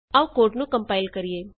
ਆਉ ਕੋਡ ਨੂੰ ਕੰਪਾਇਲ ਕਰੀਏ